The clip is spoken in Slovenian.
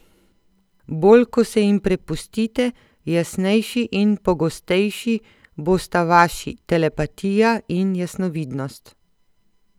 Bolj ko se jim prepustite, jasnejši in pogostejši bosta vaši telepatija in jasnovidnost.